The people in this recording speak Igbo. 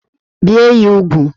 Bie ya úgwù!